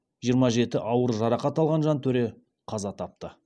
жиырма жеті ауыр жарақат алған жантөре қаза тапты